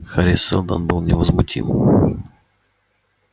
хари сэлдон был невозмутим